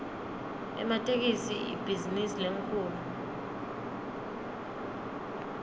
ematekisi ibhizinisi lenkhulu